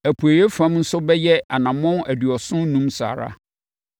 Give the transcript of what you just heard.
Apueeɛ fam nso bɛyɛ anammɔn aduɔson enum saa ara